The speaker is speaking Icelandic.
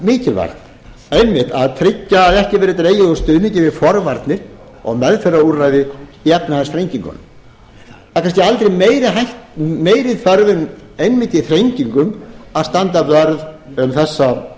líka mikilvægt einmitt að tryggja að ekki verðið dregið úr stuðningi við forvarnir og meðferðarúrræði í efnahagsþrengingunum það er kannski aldrei meiri þörf en einmitt í þrengingum að standa vörð um